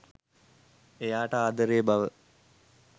එයාට ආදරේ බව.